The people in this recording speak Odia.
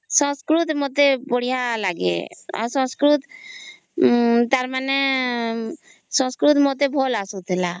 ସଂସ୍କୃତ ମତେ ବଢିଆ ଲାଗେ ଆଉ ତାର ମାନେ ସଂସ୍କୃତ ମତେ ଭଲ ଆସୁଥିଲା